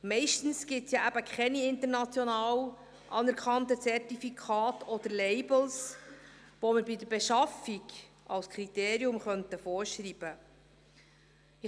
Meist gibt es keine international anerkannten Zertifikate oder Labels, die man bei der Beschaffung als Kriterium vorschreiben könnte.